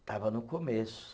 Estava no começo.